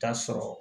K'a sɔrɔ